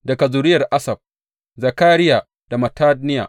Daga zuriyar Asaf, Zakariya da Mattaniya.